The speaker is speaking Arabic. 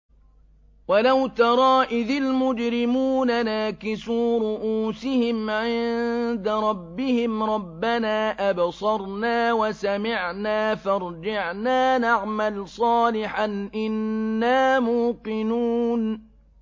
وَلَوْ تَرَىٰ إِذِ الْمُجْرِمُونَ نَاكِسُو رُءُوسِهِمْ عِندَ رَبِّهِمْ رَبَّنَا أَبْصَرْنَا وَسَمِعْنَا فَارْجِعْنَا نَعْمَلْ صَالِحًا إِنَّا مُوقِنُونَ